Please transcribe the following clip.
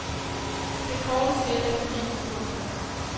Det korte spil er forbi. punktum